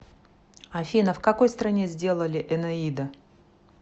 афина в какой стране сделали энеида